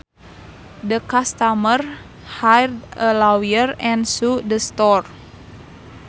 The customers hired a lawyer and sued the store